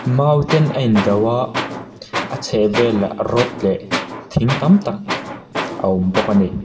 mau ten a in do a a chhehah vel rod leh thing tam tak a awm bawk a ni.